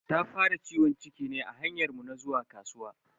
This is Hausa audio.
Ta fara ciwon ciki ne a hanyar mu na zuwa kasuwa.